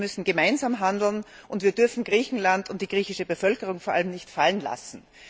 Das heißt, wir müssen gemeinsam handeln, und wir dürfen Griechenland und vor allem die griechische Bevölkerung nicht fallen lassen.